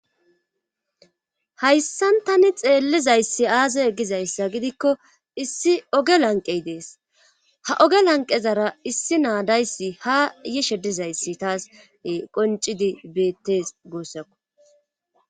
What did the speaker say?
Hayssantani xeellizayssi aase egizayssa gidikko issi oge lanqey dees ha oge lanqezara issi naadayssi ha yishe dizayssi taas qoncidi beettes goossakko.